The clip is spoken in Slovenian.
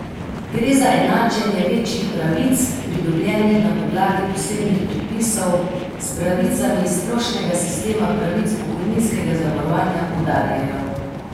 Gre za enačenje večjih pravic, pridobljenih na podlagi posebnih predpisov, s pravicami iz splošnega sistema pravic pokojninskega zavarovanja, poudarjajo.